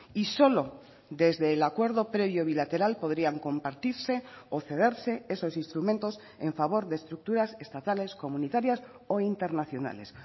y solo desde el acuerdo previo bilateral podrían compartirse o cederse esos instrumentos en favor de estructuras estatales comunitarias o internacionales